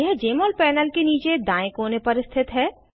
यह जमोल पैनल के नीचे दायें कोने पर स्थित है